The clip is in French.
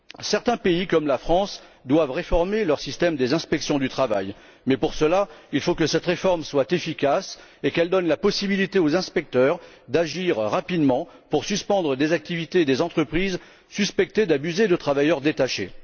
Certains pays comme la France doivent réformer leur système d'inspection du travail, mais pour cela il faut que cette réforme soit efficace et qu'elle donne la possibilité aux inspecteurs d'agir rapidement pour suspendre des activités et des entreprises suspectées d'abuser de travailleurs détachés.